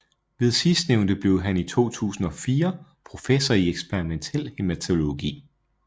Ved sidstnævnte blev han i 2004 professor i eksperimentel hæmatologi